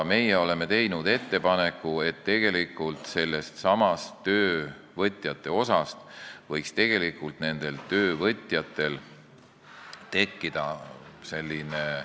Meie oleme teinud ettepaneku, et sellestsamast töövõtjate osast võiks tekkida töövõtjate isiklik konto.